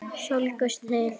Slógust þið?